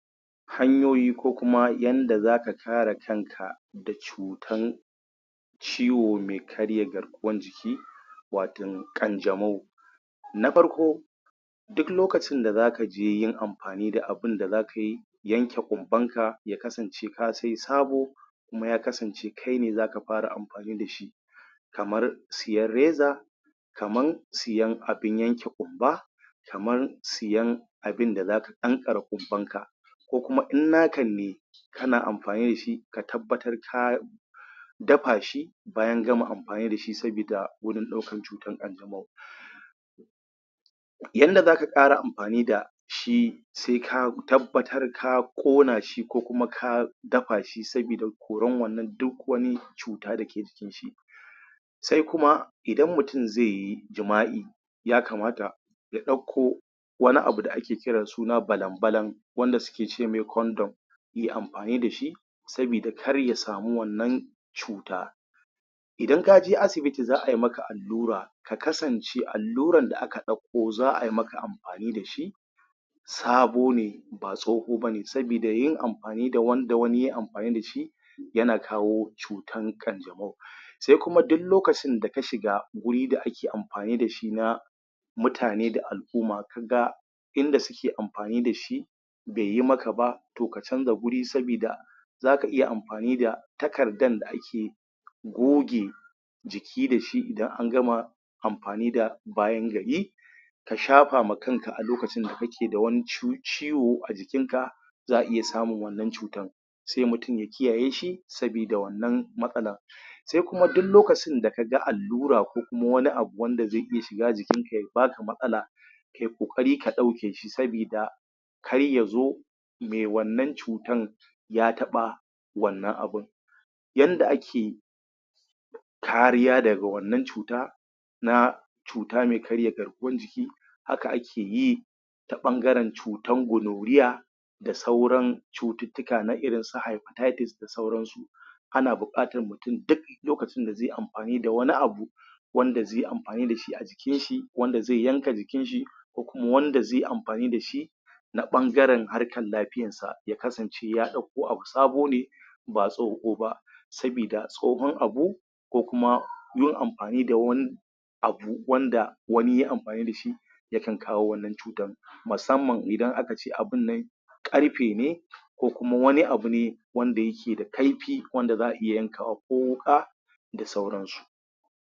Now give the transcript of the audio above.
Hanyoyi ko kuma yanda za ka kare kanka da cutan ciwo mai karya garkuwan jiki watan ƙanjamau na farko duk lokacin da zaka je yin amfani da abunda zaka yi yanke ƙumban ka ya kasance ka sai sabo kuma ya kasance kai ne zaka fara amfani da shi kamar siyar reza kaman siyan abin yanke ƙumba kaman siyan abinda zaka ƙanƙare ƙumban ka ko kuma in na kanne kana amfani dashi ka tabbatar ka dafa shi bayan gama amfani da shi sabida wurin ɗaukar cutar ƙanjamau yanda zaka ƙara amfani da shi, sai ka tabbata ka ƙona shi ko kuma ka dafa shi sabida koran wannan duk wani cuta dake jikin shi sai kuma idan mutum zai yi jima'i yakamata ya ɗauko wani abu da ake kira suna balan-balan wanda suke ce mai kondom ye amfani dashi sabida kar ya sami wannan cuta idan kaje asibiti za ai maka allura ka kasance alluran da aka ɗakko za ai maka amfani dashi sabo ne ba tsoho bane sabida yin amfani da wanda wani ye amfani dashi yana kawo cutan ƙanjamau sai kuma du lokacin da ka shiga guri da ake amfani dashi na mutane da al'umma kaga inda suke amfani dashi beyi maka ba to ka canza guri sabida zaka iya amfani da takardan da ake goge jiki dashi idan an gama amfani da bayan gari ka shafa ma kanka a lokacin da ka ke da wani ci ciwo a jikin ka za'a iya samun wannan cutan sai mutum ya kiyaye shi sabida wannan matsalan sai kuma du lokacin da kaga allura ko kuma wani abu wanda zai iya shiga jikin ka ya baka matsala kai ƙoƙari ka ɗauke shi sabida kayya zo mai wannan cutan ya taɓa wannan abun yanda ake kariya daga wannan cuta na cuta mai karya garkuwan jiki haka akeyi ta ɓangaran cutan goloriya da sauran cututtuka na irin su hepatitis da sauran su ana buƙatan mutun duk lokacin da zai amfani da wani abu wanda zai amfani dashi a jikin shi wanda zai yanka jikin shi ko kuma wanda zai amfani da shi na ɓangaren harkan lafiyan sa kasance ya ɗakko abu sabo ne ba tsoho ba sabida tsohon abu ko kuma yin amfani da wani abu wanda wani ye amfani dashi ya kan kawo wannan cutan masamman idan aka ce abun nan ƙarfe ne ko kuma wani abune wanda yake da kaifi wanda za'a iya yanka abu ko wuƙa da sauran su.